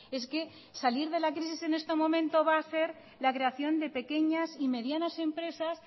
es que salir de la crisis en este momento va a ser la creación de pequeñas y medianas empresas